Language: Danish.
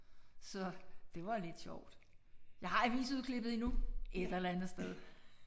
Så det var lidt sjovt. Jeg har avisudklippet endnu et eller andet sted